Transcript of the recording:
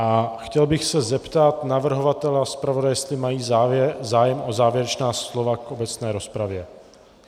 A chtěl bych se zeptat navrhovatele a zpravodaje, jestli mají zájem o závěrečná slova k obecné rozpravě.